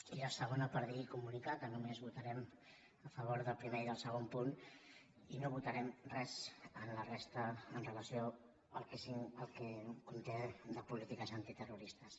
i la segona per dir i comunicar que només votarem a favor del primer i del segon punt i no votarem res de la resta amb relació al que conté de polítiques antiterroristes